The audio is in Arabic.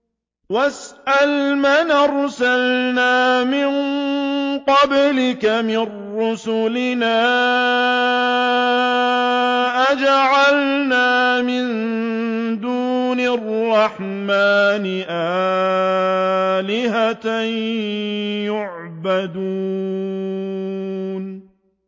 وَاسْأَلْ مَنْ أَرْسَلْنَا مِن قَبْلِكَ مِن رُّسُلِنَا أَجَعَلْنَا مِن دُونِ الرَّحْمَٰنِ آلِهَةً يُعْبَدُونَ